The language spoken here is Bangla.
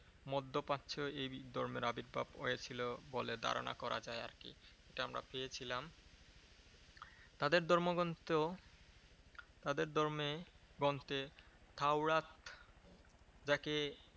মধ্যে প্রাচ্য এই ধর্মের আবির্ভাব হয়েছিল বলে ধারণা করা যায় আর কি। এটা আমরা পেয়েছিলাম। তাদের ধর্মগ্রন্থ তাদের ধর্মে গ্রন্থে তাওরাত যাকে